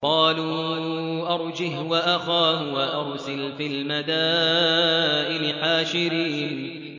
قَالُوا أَرْجِهْ وَأَخَاهُ وَأَرْسِلْ فِي الْمَدَائِنِ حَاشِرِينَ